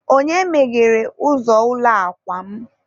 onye meghere ụzọ ụlọ akwa m?